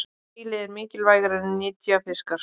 Síli eru mikilvægir nytjafiskar.